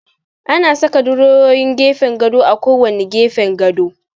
Ana saka durowowin gefen gado a kowanne gefen gado.